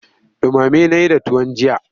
Ɗumame na yi da tuwon jiya.